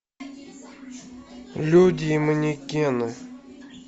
люди и манекены